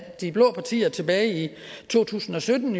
de blå partier tilbage i to tusind og sytten